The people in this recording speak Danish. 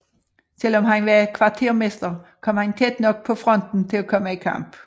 Selv om han var kvartermester kom han tæt nok på fronten til at komme i kamp